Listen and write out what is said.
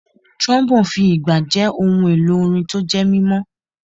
Trombone fi ìgbà jẹ́ ohun èlò orin tó jẹ́ mímọ́.